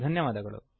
ಧನ್ಯವಾದಗಳು